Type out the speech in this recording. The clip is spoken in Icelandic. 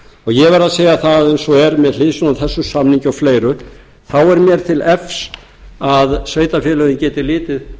ég verð að segja það eins og er með hliðsjón af þessum samningi og fleira þá er mér til efs að sveitarfélögin geti litið